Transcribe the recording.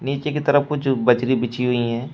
नीचे की तरफ कुछ बजरी बिछी हुई है।